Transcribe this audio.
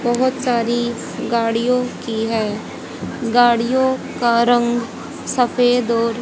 बहोत सारी गाड़ियों की है गाड़ियों का रंग सफेद और--